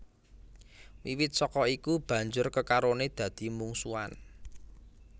Wiwit saka iku banjur kekarone dadi mungsuhan